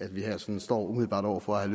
at vi her sådan står umiddelbart over for at